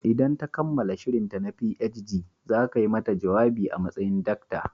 Idan ta kammala shirinta na PhD, za ka yi mata jawabi a matsayin Dr.